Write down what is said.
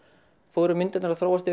fóru myndirnar að þróast